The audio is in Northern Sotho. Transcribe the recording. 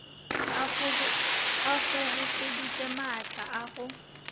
a kgobokeditše maatla a go